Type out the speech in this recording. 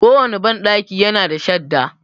Ko wanne banɗaki ya na da shadda.